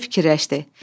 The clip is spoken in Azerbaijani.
Qoca fikirləşdi: